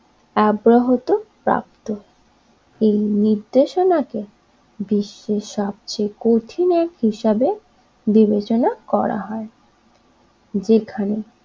আব্রাহত প্রাপ্ত এই নির্দেশনা কে বিশ্বের সবচেয়ে কঠিন অ্যাক্ট হিসেবে বিবেচনা করা হয় যেখানে